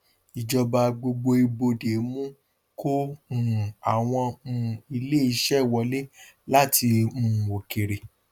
ìjọba gbogbo ibodè mú kó um àwọn um ilé iṣẹ wọlé láti um òkèèrè